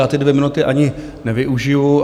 Já ty dvě minuty ani nevyužiju.